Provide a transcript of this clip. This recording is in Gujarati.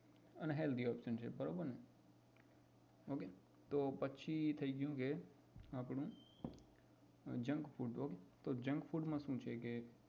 unhealthy option છે બરોબર ને પછી હવે થઇ ગયું આપણું junk food તો junk food શું છે કે